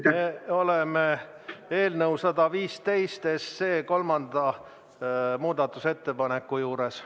Me oleme eelnõu 115 kolmanda muudatusettepaneku juures.